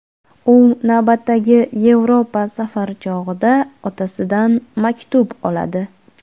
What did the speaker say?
U navbatdagi Yevropa safari chog‘ida otasidan maktub oladi.